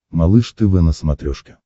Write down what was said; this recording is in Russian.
малыш тв на смотрешке